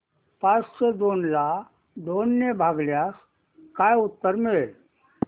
पाचशे दोन ला दोन ने भागल्यास काय उत्तर मिळेल